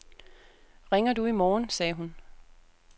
Ringer du i morgen, sagde hun.